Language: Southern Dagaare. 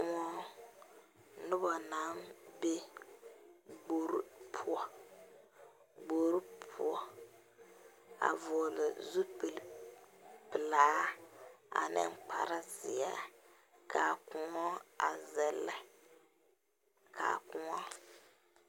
Noba naŋ be gbori poɔ gbori poɔ a vɔgle zupilpelaa ane kparezeɛ ka koɔ a zɛllɛ a koɔ.